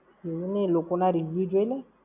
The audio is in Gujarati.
એવું નઈ, લોકોના review જોઈ લે ને!